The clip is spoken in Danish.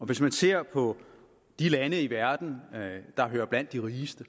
hvis vi ser på de lande i verden der hører blandt de rigeste